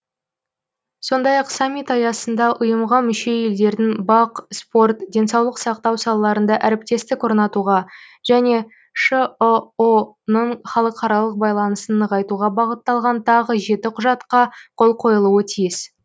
сондай ақ саммит аясында ұйымға мүше елдердің бақ спорт денсаулық сақтау салаларында әріптестік орнатуға және шыұ ның халықаралық байланысын нығайтуға бағытталған тағы жеті құжатқа қол қойылуы тиіс